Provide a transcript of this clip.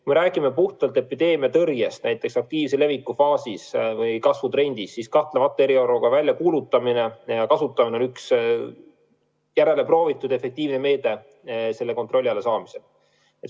Kui me räägime puhtalt epideemiatõrjest, näiteks aktiivse leviku faasis või kasvutrendis, siis kahtlemata on eriolukorra väljakuulutamine ja kasutamine üks järele proovitud ja efektiivne meede selle kontrolli alla saamiseks.